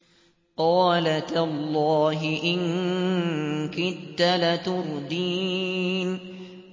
قَالَ تَاللَّهِ إِن كِدتَّ لَتُرْدِينِ